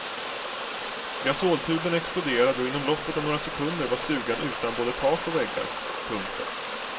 Gasoltuben exploderade och inom loppet av några sekunder var stugan utan både tak och väggar. punkt